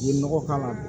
Ye nɔgɔ k'a la